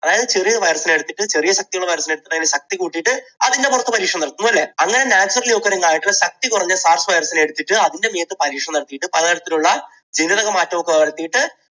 അതായത് ചെറിയൊരു virus നെ എടുത്തിട്ട് ചെറിയ ശക്തിയുള്ള virus നെ എടുത്തിട്ട് അതിൻറെ ശക്തി കൂട്ടിയിട്ട് അതിൻറെ പുറത്ത് പരീക്ഷണം നടത്തുന്നു അല്ലേ? അങ്ങനെ naturally occuring ആയിട്ടുള്ള ശക്തികുറഞ്ഞ SARS virus എടുത്തിട്ട് അതിൻറെ മേത്ത് പരീക്ഷണം നടത്തിയിട്ട് പലതരത്തിലുള്ള ജനിതകമാറ്റം ഒക്കെ വരുത്തിയിട്ട്